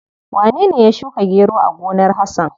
Wanene ya shuka gero a gonar Hasan?